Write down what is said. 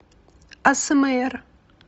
асмр